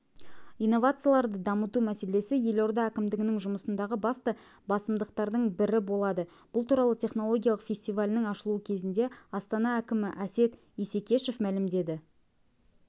инновацияларды дамыту мәселесі елорда әкімдігінің жұмысындағы басты басымдықтардың бірі болады бұл туралы технологиялық фестивалінің ашылуы кезінде астана әкімі әсет исекешев мәлімдеді